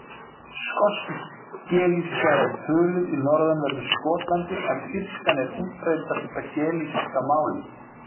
Skosk-gelíska er töluð í norðanverðu Skotlandi en írskan er útbreiddasta gelíska málið.